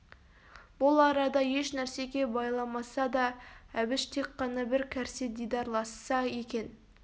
бұл арада еш нәрсеге байламаса да әбіш тек қана бір кәрсе дидарласса екен